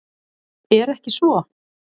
Er ekki svo?